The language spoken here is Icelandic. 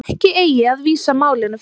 Ekki eigi að vísa málinu frá